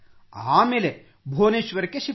ಆಮೇಲೆ ಭುವನೇಶ್ವರಕ್ಕೆ ಶಿಫ್ಟ್ ಆದೆ